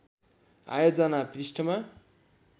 आयोजना पृष्ठमा